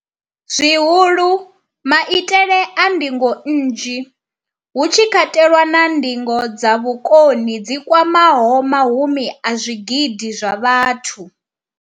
zwihulu, maitele a ndingo nnzhi, hu tshi katelwa na ndingo dza vhukoni dzi kwamaho mahumi a zwigidi zwa vhathu.